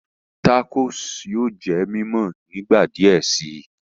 Tacos yóò jẹ mímọ nígbà diẹ sí